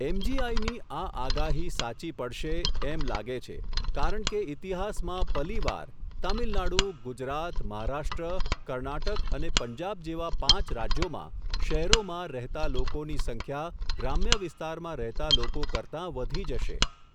એમજીઆઈની, આ આગાહી સાચી પડશે, એમ લાગે છે, કારણ કે ઇતિહાસમાં પલીવાર, તામિલનાડુ ગુજરાત, મહારાષ્ટ્ર, કર્ણાટક અને પંજાબ જેવા પાંચ રાજ્યોમાં, શહેરોમાં, રહેતા લોકોની સંખ્યા ગ્રામ્ય વિસ્તારમાં રહેતા લોકો કરતા વધી જશે.